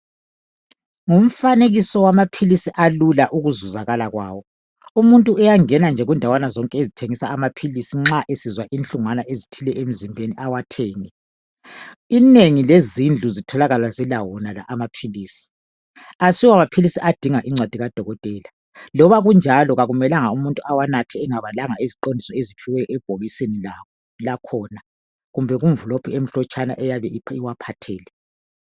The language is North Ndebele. Ngumfanekiso wamaphilisi alula ukuzuzakala kwawo. Umuntu uyangena nje kundawana zonke ezithengisa nxa esizwa inhlungwana ezithile emzimbeni awathenge. Inengi lezindlu zitholakala zilawo wonala maphilisi. Asiwo maphilisi adinga incwadi kadokotela, loba kunjalo akumelanga umuntu awanathe engabalanga iziqondiso eziphiwe ebhokisini lawo lakhona kumbe kumvilophu emhlotshana eyabe iwaphathele.